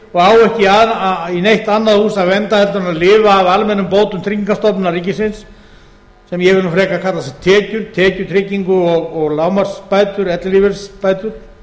vinnumarkaði og á ekki í neitt annað hús að venda heldur en að lifa af almennum bótum tryggingastofnunar ríkisins sem ég vil nú frekar kalla tekjur tekjutryggingu og lágmarksbætur ellilífeyrisbætur